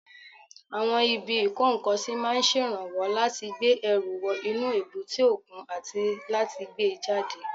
Àwọn ibi ìkó-nǹkan-sí máa ń ṣèrànwọ́ láti gbé ẹrù wọ inú èbúté òkun àti láti gbé e jáde